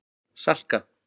Salka